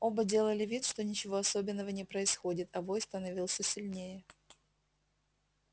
оба делали вид что ничего особенного не происходит а вой становился сильнее